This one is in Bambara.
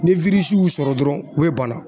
Ni y'u sɔrɔ dɔrɔn o bɛ banna.